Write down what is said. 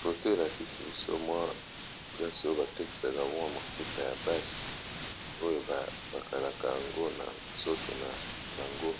Foto elakisi biso mwa plase oyo batakisaka mwa mafuta ya basi oyo bakalaka yango na nzoto na bango